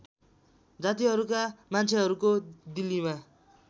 जातिहरूका मान्छेहरूको दिल्लीमा